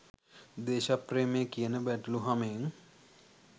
දේශප්‍රේමය කියන බැටළු හමෙන්